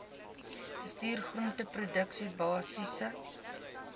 bestuur groenteproduksie basiese